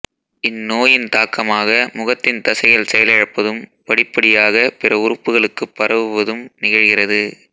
இந்நோயின் தாக்கமாக முகத்தின் தசைகள் செயலிழப்பதும் படிப்படியாக பிற உறுப்புகளுக்குப் பரவுவதும் நிகழ்கிறது